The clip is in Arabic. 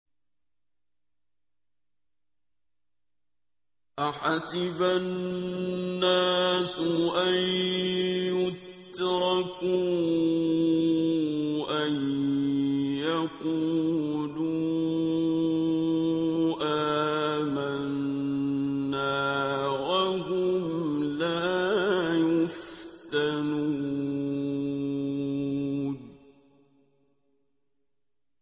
أَحَسِبَ النَّاسُ أَن يُتْرَكُوا أَن يَقُولُوا آمَنَّا وَهُمْ لَا يُفْتَنُونَ